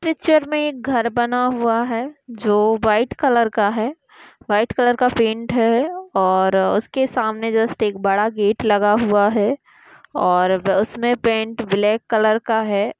Picture मे एक घर बना हुआ है जो व्हाइट कलर का है। व्हाइट कलर का पैंट हैं और उसके सामने जस्ट एक बड़ा गेट हुआ है। और उसमे पैंट बलैक कलर का है।